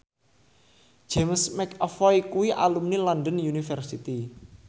James McAvoy kuwi alumni London University